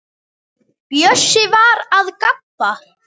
Bjössi var að gabba.